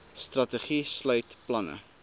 strategie sluit planne